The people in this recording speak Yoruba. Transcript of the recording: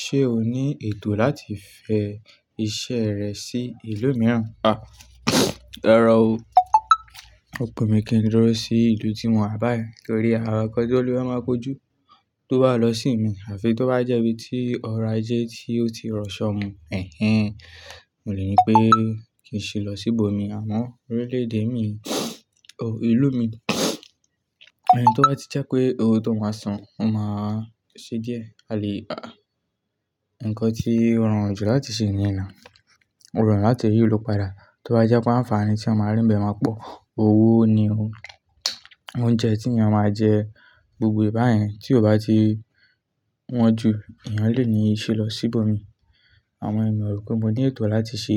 Ṣé o ní ètò láti fẹ iṣẹ́ rẹ sí ìlú mìíràn? Rárá o. Ọ̀pọ̀ mi kì í lọ sí ìlú tí mò wà báyìí torí awakọ̀ tí ó lè máa kojú tó bá lọ sí mi àfi tó bá jẹ́ ibi tí ọrọ̀ ajé tí ó ti rọ ṣọ ọmọ, èhèn. Mo lè ní pé kì í ṣi lọ sí ibòmìí àmọ́ orílẹ̀ èdè mi o, ìlú mi. Ẹni tó bá ti jẹ́ pé ohun tó máa san, ó máa ṣe díẹ̀. A lè rà nnkan tí ó rọrùn jù láti ṣe nìyen now. Ó rọrùn láti rí ìlú padà tó bá jẹ́ pé ànfàaní tí mo máa rín bẹ̀ máa pọ̀. Owó ni o. Oúnjẹ tí ènìyàn máa jẹ gbogbo báyìí tí ò bá ti wọ́n jù, ènìyàn lè ní ìṣe lọ sí ibòmíì. Àwọn ènìyàn mọ̀ pé mo ní ètò láti ṣe